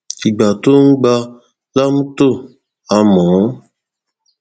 ìgbà tóò ń gbà làmùtò á mọ ọn